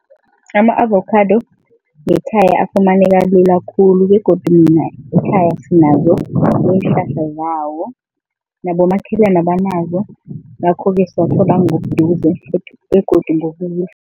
Ama-avocado ngekhaya afumaneka lula khulu begodu mina ekhaya sinazo iinhlahla zawo, nabomakhelane banazo ngakhoke siwathola ngobuduze begodu ngobuhle.